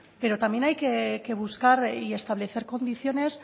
pero también hay que buscar y establecer condiciones